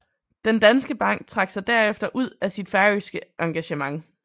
Den Danske Bank trak sig derefter ud af sit færøske engagement